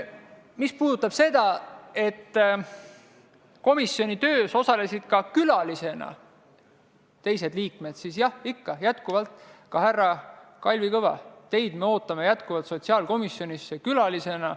Mis puudutab seda, et komisjoni töös osalesid ka külalised, siis jah, härra Kalvi Kõva, ka teid ootame me endiselt sotsiaalkomisjoni külaliseks.